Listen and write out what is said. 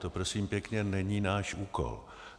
To prosím pěkně není náš úkol.